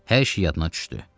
Hər şey yadına düşdü.